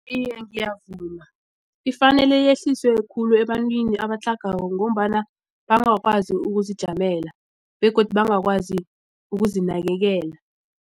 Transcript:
Iye, ngiyavuma ifanele yehliswe khulu ebantwini abatlhagako ngombana bangakwazi ukuzijamela begodu bangakwazi ukuzinakelela.